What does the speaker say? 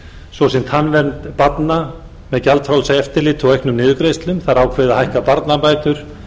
svo sem tannvernd barna með gjaldfrjálsu eftirliti og auknum niðurgreiðslum það er ákveðið að hækka barnabætur